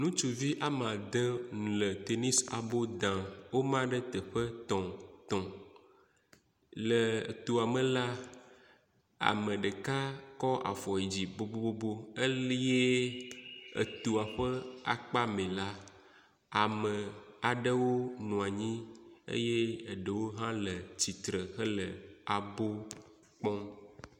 Ŋutsuvi wome ade le tenisi abo dam. Woma ɖe teƒe tɔ̃ tɔ̃ le toa me la, ame ɖeka kɔ afɔ yi dzi bobobo. Elie etoa ƒe akpe me ɖa, ame aɖewo nɔ anyi eye ɖewo hã le tsitre hele abɔ kpɔm.